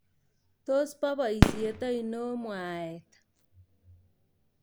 Tos bo boisyet aino mwaet ?